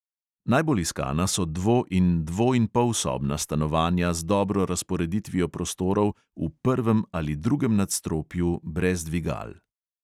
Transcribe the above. Najbolj iskana so dvo- in dvoinpolsobna stanovanja z dobro razporeditvijo prostorov v prvem ali drugem nadstropju brez dvigal.